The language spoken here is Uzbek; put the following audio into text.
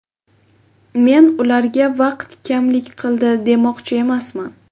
Men ularga vaqt kamlik qildi demoqchi emasman.